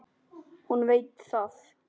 Hún veit það.